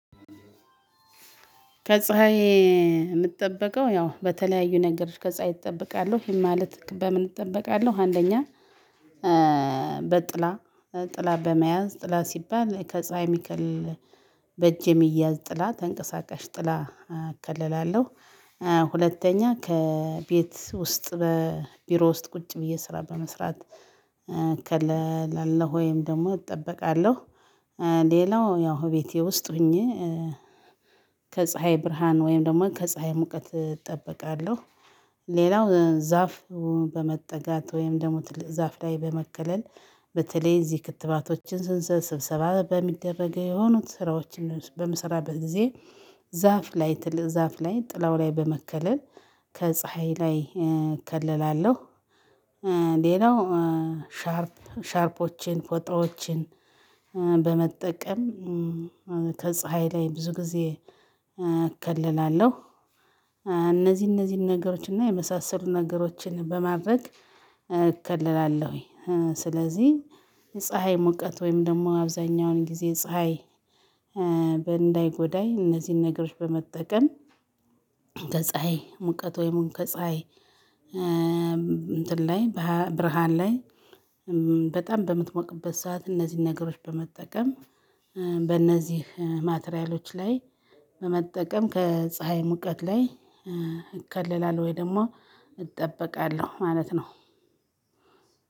ከፀሀይ የምትጠብቀው ያው በተለያዩ ነገሮች ከፀሀይ እጠብቃለሁ? ይሄ ማለት በምን እጠበቃለሁ አንደኛ በጥላ፣ ጥላ በመያዝ ጥላ ሲባል ከፀሀይ ሚከልል በእጅ የሚያዝ ጥላ ተንቀሳቃሽ ጥላ እከልላለሁ። ሁለተኛ ከቤት ውስጥ በቢሮ ውስጥ ቁጭ ብየ ስራ በምስራት እከላለሁ ወይም ደግሞ እጠበቃለሁ። ሌላው ያው ቤቴ ውስጥ ሆኜ ከፀሀይ ብርሃን ወይም ደግሞ ከፀሀይ ሙቀት እጠበቃለሁ። ሌላው ዛፍ በመጠጋት ወይም ደግሞ ትልቅ ዛፍ ላይ በመከለል በተለይ እዚህ ክትባቶችን ስንሰራ ስብሰባ በሚደረገው የሆኑት ስራዎችን በምሰራበት ጊዜ ዛፍ ላይ ትልቅ ዛፍ ላይ ጥላው ላይ በመከለል ከፀሀይ ላይ እከለላለሁ። ሌላው ሻርፕ ሻርፖችን ፎጣዎችን በመጠቀም ከፀሀይ ላይ ብዙ ጊዜ እከልላለሁ። እነዚህ እነዚህን ነገሮች እና የመሳሰሉ ነገሮችን በማድረግ እከልላለሁኝ። ስለዚህ ፀሀይ ሙቀት ወይም ደግሞ አብዛኛውን ጊዜ ፀሀይ በእንዳይጎዳይ እነዚህን ነገሮች በመጠቀም ከፀሀይ ሙቀት ወይም ከፀሀይ እንትን ላይ ብርሃን ላይ በጣም በምትሞቅበት ሰዓት እነዚህን ነገሮች በመጠቀም በእነዚህ ማቴሪያሎች ላይ በመጠቀም ከፀሀይ ሙቀት ላይ እከለላለሁ ወይ ደግሞ እጠበቃለሁ። ማለት ነው።